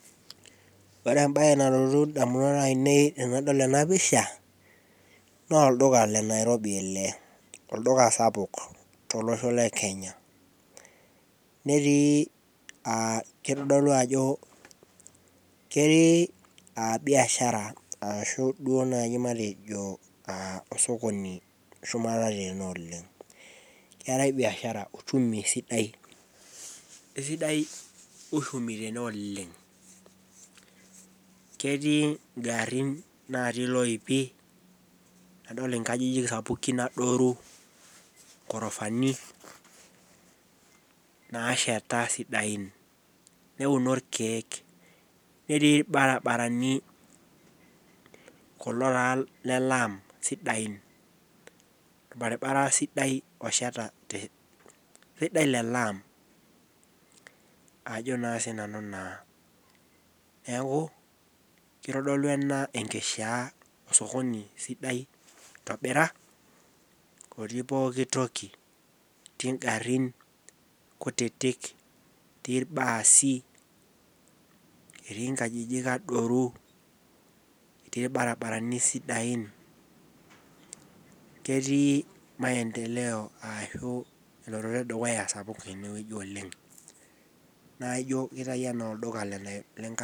Ore ebae nalotu damunot ainei tenadol ena pisha, naa olduka le Nairobi ele, olduka sapuk, tolosho le Kenya, netiii aa kitodolu ajo, ketii biashara ashu duoo naji matejo osokoni shumata tene oleng. keetae biashara uchumi sidai, esidai uchumi tene oleng. ketii garin natii iloipi, nadol inkajijik sapukin adoru, gorofani naasheta sidain. neuno irkeeke. netii olbaribarani. kulo taa lel laam sidain. olbaribara sidai osheta .sidai le laam. ajo naa sii nanu naa. neeku kitodolu ena enkishaa esokoni. Sidai itobira otii pooki toki. etii garin. kutitik etii ilbaasi etii nkajijik adoru. etii ilbarinarani sidain. ketii maendeleo ine wueji oleng. naa ijo kitayu anaa olduka le Nairobi ele.